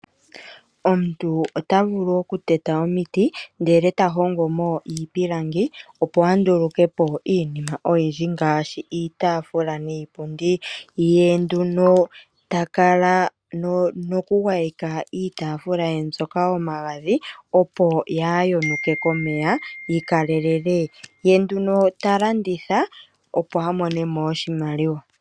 Omuntu ota vulu okuteta omiti e ta hongo mo iipilangi, opo a nduluke po iinima oyindji ngaashi iitaafula niipundi. Ye ta kala nokugwayeka iitaafula ye mbyoka omagadhi, opo kaayi yonuke komeya, yi kalelele. Ye ta landitha, opo a mone mo oshimaliwa.